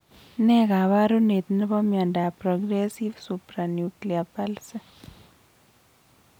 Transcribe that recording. Nee kaparunet nebo miondap progressive supranuclear palsy